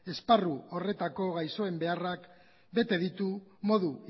esparru horretako gaixoen beharrak bete ditu modu